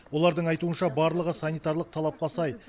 олардың айтуынша барлығы санитарлық талапқа сай